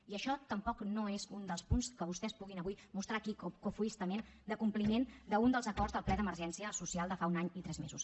i això tampoc no és un dels punts que vostès puguin avui mostrar aquí cofoiament de compliment d’un dels acords del ple d’emergència social de fa un any i tres mesos